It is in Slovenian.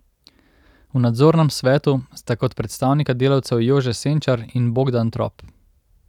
V nadzornem svetu sta kot predstavnika delavcev Jože Senčar in Bogdan Trop.